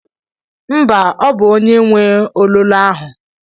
Mba, ọ bụ onye nwe ololo ahụ.